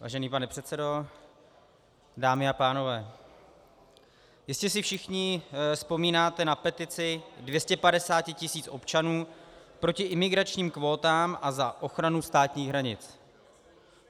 Vážený pane předsedo, dámy a pánové, jistě si všichni vzpomínáte na petici 250 tisíc občanů proti imigračním kvótám a za ochranu státních hranic.